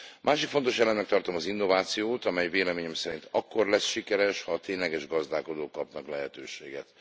Másik fontos elemnek tartom az innovációt, amely véleményem szerint akkor lesz sikeres, ha a tényleges gazdálkodók kapnak lehetőséget.